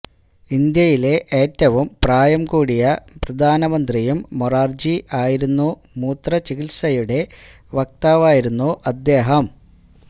ഇന്ത്യലിലെ ഏറ്റവും പ്രായം കൂറ്റിയ പ്രധാന മന്ത്രിയും മൊറാര്ജി ആയിരുന്നു മൂത്രചികിത്സയുടെ വക്താവായിരുന്നു അദ്ദേഹം